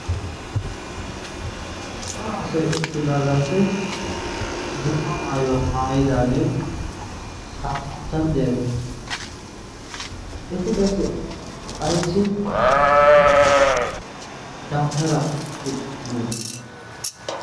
cora asai uttidaagaappe dumma maayuwaa maayidaagee aappunttan deyaagee? eti qassi aissi dautaraa oiqqi uttidoona?